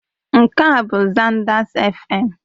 Nke a bụ Zanders Fm.